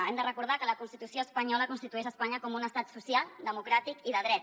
hem de recordar que la constitució espanyola constitueix espanya com un estat social democràtic i de dret